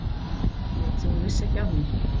Lét sem hún vissi ekki af mér.